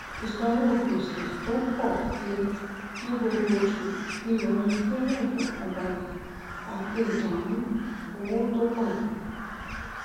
ìsanwó gbèsè tó ń pọ síi ní gbogbo oṣù fi òun sínú ìfọkànbalẹ àti ìdààmú owó tó pọ jù